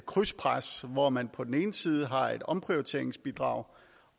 krydspres hvor man på den ene side har et omprioriteringsbidrag